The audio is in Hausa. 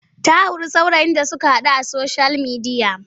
Ta sure saurayin da suka haɗu a soshiyal midiya.